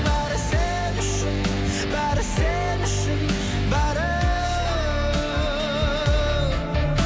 бәрі сен үшін бәрі сен үшін бәрі